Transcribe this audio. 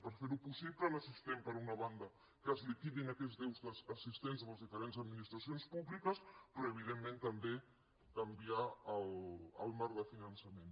i per fer ho possible necessitem per una banda que es liquidin aquests deutes existents a les diferents administracions públiques però evidentment també canviar el marc de finançament